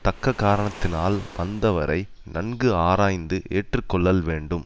தக்க காரணத்தினால் வந்தவரை நன்கு ஆராய்ந்து ஏற்று கொள்ளல் வேண்டும்